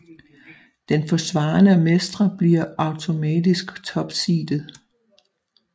Den forsvarende mestre bliver automatisk topseedet